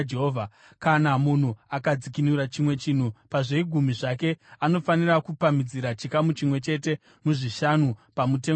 Kana munhu akadzikinura chimwe chinhu pazvegumi zvake, anofanira kupamhidzira chikamu chimwe chete muzvishanu pamutengo wacho.